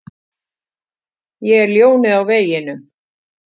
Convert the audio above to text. Ég er ljónið á veginum.